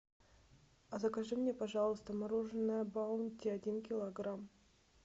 закажи мне пожалуйста мороженое баунти один килограмм